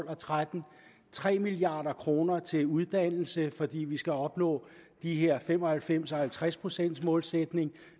og tretten tre milliard kroner til uddannelse fordi vi skal opnå de her fem og halvfems og halvtreds procent målsætninger